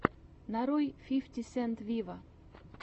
нарой фифти сент виво